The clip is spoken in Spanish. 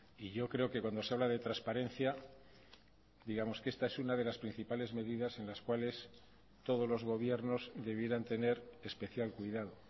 y yo creo que cuando se habla de transparencia digamos que esta es una de las principales medidas en las cuales todos los gobiernos debieran tener especial cuidado